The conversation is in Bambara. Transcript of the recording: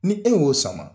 Ni e y'o sama